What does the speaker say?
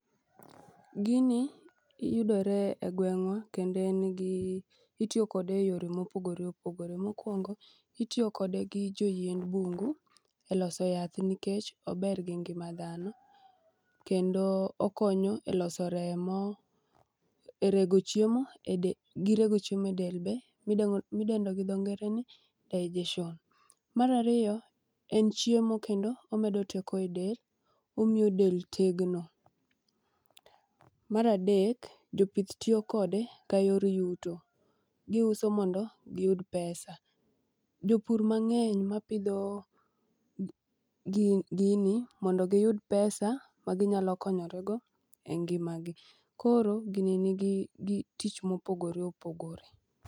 Gini yudore e gweng'wa kendo itiyo kode e yore mopogore opogore. Mokwongo itiyo kode gi joyiend bungu e loso yath nikech ober gi ngima dhano kendo okonyo e loso remo gi rego chiemo e del be midendo gi dho ngere ni digestion. Mar ariyo en chiemo kendo omedo teko e del, omiyo del tegno. Mar adek jopith tiyo kode ka yor yuto, giuso mondo giyud pesa. Jopur mang'eny mapidho gini mondo giyud pesa maginyalo konyorego e ngimagi, koro gini nigi tich mopogore opogore.